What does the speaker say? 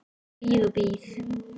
Ég bíð og bíð.